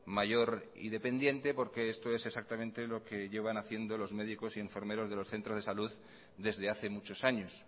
mayor y dependiente porque esto es exactamente lo que llevan haciendo los médicos y enfermeros de los centros de salud desde hace muchos años